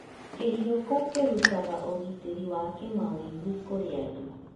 Kĩhioko kĩrutaga ũgitĩri wa kĩmawĩgwi kũrĩ andũ.